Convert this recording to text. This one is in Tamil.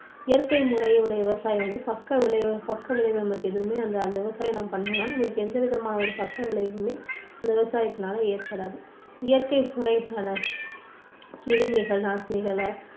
இயற்கை முறையுடைய விவசாயம் வந்து பக்க விளைவுகள் பக்க விளைவுகள் அந்த மாதிரி விவசாயம் பண்ணினா எந்த விதமான பக்க விளைவுமே விவசாயத்துனால ஏற்படாது இயற்கை முறைகள கிருமிகள் நாசினிகளை